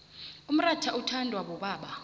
umrotha uthondwa bobaba